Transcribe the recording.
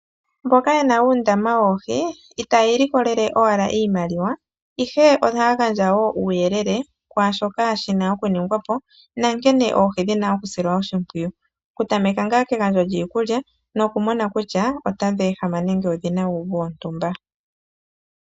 Mboka yena uundama woohi itaya ilikolele owala iimaliwa ihe oha ya gandja wo uuyelele kwaashoka shina okuningwapo na nkene oohi dhina oku silwa oshipwiyu, oku tameka ngaa kegandjo lyiikulya nokumona wo ku sha otadhi ehama nenge odhina uuvu wontumba.